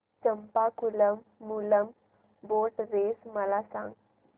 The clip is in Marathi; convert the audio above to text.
चंपाकुलम मूलम बोट रेस मला सांग